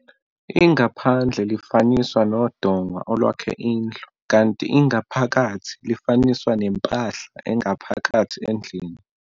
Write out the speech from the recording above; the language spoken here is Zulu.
Ingaphandle lifaniswa nodonga olwakhe indlu kanti ingaphakathi lifaniswa nempahla engaphakathi endlini.